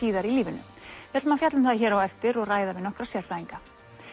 síðar í lífinu við ætlum að fjalla um það hér á eftir og ræða við nokkra sérfræðinga